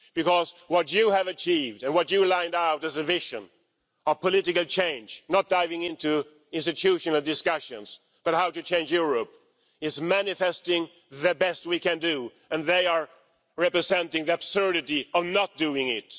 Because what you have achieved and what you lined out as a vision of political change not diving into institutional discussions, but how to change Europe is manifesting the best we can do and they are representing the absurdity of not doing it.